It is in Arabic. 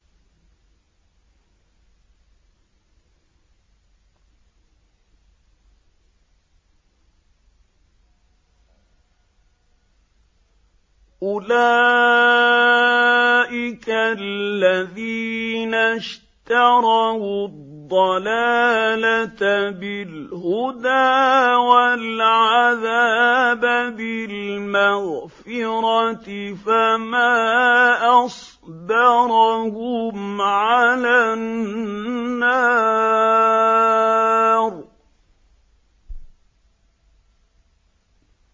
أُولَٰئِكَ الَّذِينَ اشْتَرَوُا الضَّلَالَةَ بِالْهُدَىٰ وَالْعَذَابَ بِالْمَغْفِرَةِ ۚ فَمَا أَصْبَرَهُمْ عَلَى النَّارِ